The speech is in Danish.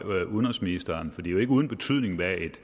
udenrigsministeren for det er jo ikke uden betydning hvad et